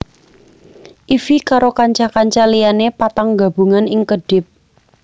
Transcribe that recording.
Ify karo kanca kanca liyane patang gabungan ing kedhip